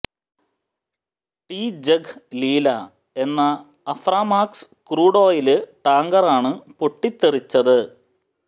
T Jag Leela എന്ന Aframax crude oil ടാങ്കറാണ് പൊട്ടിത്തെറിച്ചത്